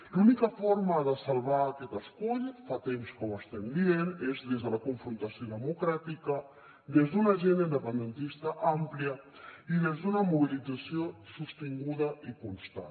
l’única forma de salvar aquest escull fa temps que ho estem dient és des de la confrontació democràtica des d’una agenda independentista àmplia i des d’una mobilització sostinguda i constant